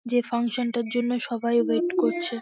যে ফাংশান -টার জন্য সবাই ওয়েট করছে ।